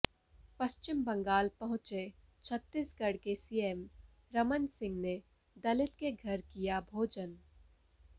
पश्चिम बंगाल पहुंचे छत्तीसगढ़ के सीएम रमन सिंह ने दलित के घर किया भोजन